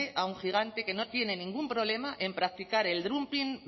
a un gigante que no tiene ningún problema en practicar el dumping